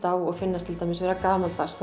á og finnast til dæmis vera gamaldags